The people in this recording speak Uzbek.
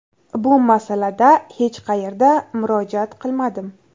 Bu masalada hech qayerga murojaat qilmadim.